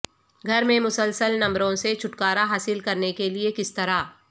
گھر میں مسلسل نمبروں سے چھٹکارا حاصل کرنے کے لئے کس طرح